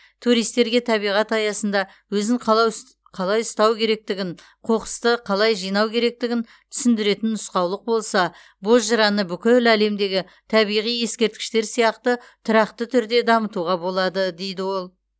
туристерге табиғат аясында өзін қалай ұстау керектігін қоқысты қалай жинау керектігін түсіндіретін нұсқаулық болса бозжыраны бүкіл әлемдегі табиғи ескерткіштер сияқты тұрақты түрде дамытуға болады дейді ол